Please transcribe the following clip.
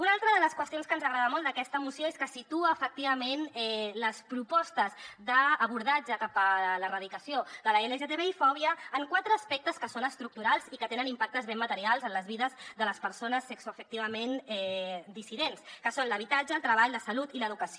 una altra de les qüestions que ens agrada molt d’aquesta moció és que situa efectivament les propostes d’abordatge cap a l’erradicació de l’lgtbi fòbia en quatre aspectes que són estructurals i que tenen impactes ben materials en les vides de les persones sexoafectivament dissidents que són l’habitatge el treball la salut i l’educació